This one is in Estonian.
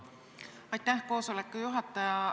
Aitäh, koosoleku juhataja!